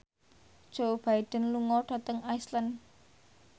Joe Biden lunga dhateng Iceland